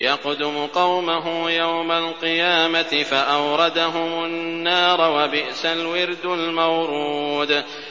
يَقْدُمُ قَوْمَهُ يَوْمَ الْقِيَامَةِ فَأَوْرَدَهُمُ النَّارَ ۖ وَبِئْسَ الْوِرْدُ الْمَوْرُودُ